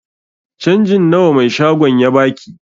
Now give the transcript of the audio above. Canjin nawa mai shagon ya baki?